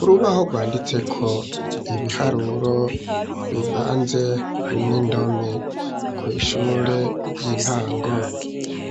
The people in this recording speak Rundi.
Urubaho rwanditseko ibiharuro bivanze n'indome. Kw' ishure ry'intango,